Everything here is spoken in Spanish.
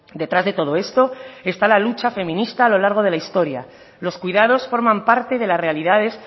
detrás de todo esto está la lucha feminista a lo largo de la historia los cuidados forman parte de las realidades